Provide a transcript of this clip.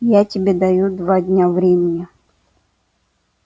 я тебе даю два дня времени